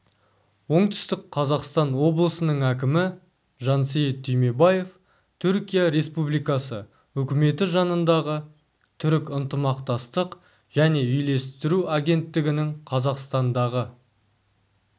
оңтүстік қазақстан облысының әкімі жансейіт түймебаев түркия республикасы үкіметі жанындағы түрік ынтымақтастық және үйлестіру агенттігінің қазақстандағы